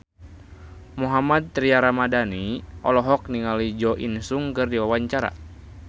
Mohammad Tria Ramadhani olohok ningali Jo In Sung keur diwawancara